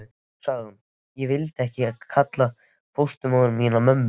Svo sagði hún: Ég vildi ekki kalla fósturmóður mína mömmu.